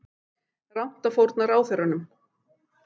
Rangt að fórna ráðherrunum